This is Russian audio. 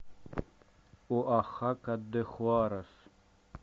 оахака де хуарес